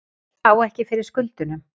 Á ekki fyrir skuldunum